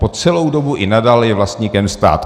Po celou dobu i nadále je vlastníkem stát.